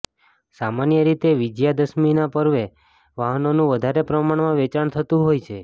સામાન્ય રીતે વિજયા દશમીના પર્વે વાહનોનું વધારે પ્રમાણમાં વેચાણ થતું હોય છે